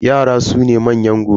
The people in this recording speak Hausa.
Yara su ne manyan gobe.